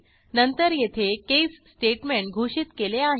नंतर येथे case statement घोषित केले आहे